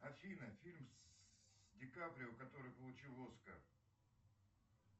афина фильм с ди каприо который получил оскар